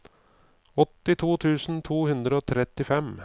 åttito tusen to hundre og trettifem